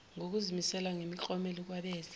ngokuzimisela nemiklomelo kwabenze